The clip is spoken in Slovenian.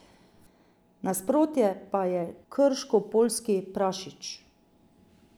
Nasprotje pa je krškopoljski prašič.